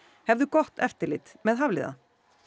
hefðu gott eftirlit með Hafliða